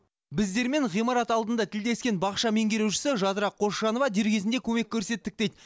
біздермен ғимарат алдында тілдескен бақша меңгерушісі жадыра қосжанова дер кезінде көмек көрсеттік дейді